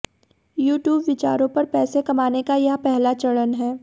YouTube विचारों पर पैसे कमाने का यह पहला चरण है